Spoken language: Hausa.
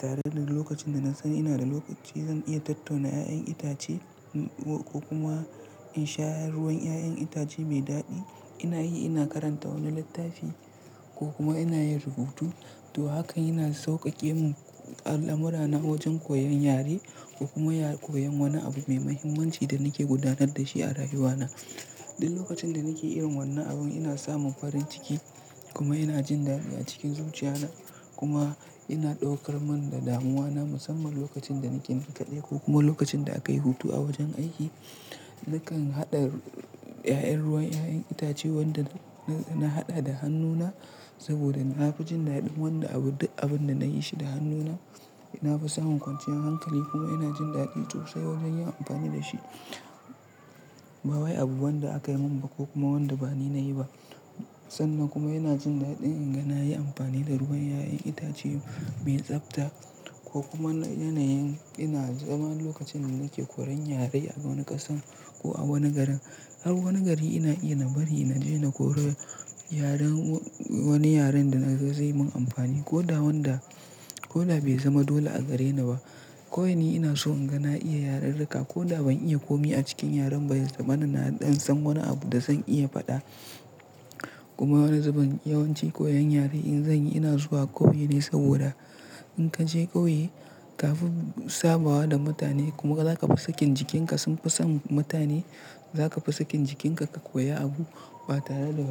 Tare da lokacin da na san ina da lokaci zan iya tattauna da ƴaƴan itace ko kuma in sha ruwan ƴaƴan itace mai daɗi. Ina yi, ina karanta wani littafi ko kuma ina yin rubutu. To, hakan yana sauƙaƙe mun al'amurana wajen koyon yare ko kuma koyon wani abu mai mahimmanci da nake gudanar da shi a rayuwana. Duk lokacin da nake yin wannan abun ina samun farin ciki kuma ina jin dadi a cikin zuciyana kuma ina ɗaukar man da damuwana musamman lokacin da nake ninkaye ko kuma lokacin da aka yi hutu a wajen aiki. Nakan haɗa ƴaƴan ruwan ƴaƴan itace wanda na haɗa da hannuna saboda na fi jin daɗin wanda abun duk abun da na yi shi da hannuna. Na fi samun kwanciyar hankali kuma ina jin daɗi sosai wajen yin amfani da shi. Ba wai abu wanda aka yi mun ba ko kuma wanda ba ni na yi ba. Sannan kuma ina jin daɗin in ga na yi amfani da ruwan ƴaƴan itace mai tsabta ko kuma yanayin ina zama lokacin da nake koyan yare a wani ƙasan ko a wani garin. Har wani gari ina iya na bari na je na koye yaren wani yaren da na ga zai mun amfani ko da wanda ko da bai zama dole a gareni ba. Ko yane ina so in ga na iya yararrika ko da ban iya komi a cikin yaren baya da mana naɗi in san wani abu da zan iya faɗa. Kuma wani zubin yawanci koyan yare in zan yi ina zuwa ƙauye ne saboda in ka je ƙauye kafin sabawa da mutane kuma za ka fi sakin jikinka sun fi samun mutane. Za ka fi sakin jikinka ka koya abu ba tare da